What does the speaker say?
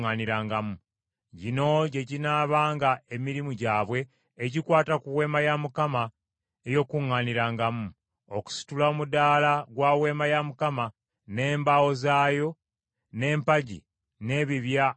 Gino gye ginaabanga emirimu gyabwe egikwata ku Weema ey’Okukuŋŋaanirangamu: okusitula omudaala gwa Weema ya Mukama , n’embaawo zaayo, n’empagi n’ebibya mwe zituula,